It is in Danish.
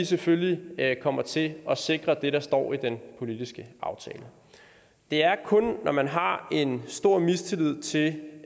selvfølgelig kommer til at sikre det der står i den politiske aftale det er kun når man har en stor mistillid til